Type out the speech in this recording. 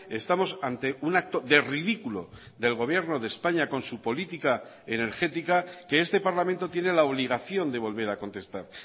estamos ante un acto de ridículo del gobierno de españa con su política energética que este parlamento tiene la obligación de volver a contestar